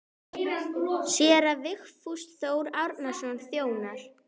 Séra Vigfús Þór Árnason þjónar.